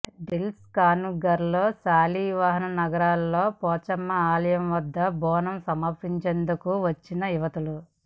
దిల్సుఖ్నగర్ శాలివాహననగర్లోని పోచమ్మ ఆలయం వద్ద బోనం సమర్పించేందుకు వచ్చిన యువతులు